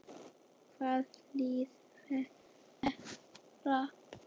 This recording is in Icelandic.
Hvaða lið falla?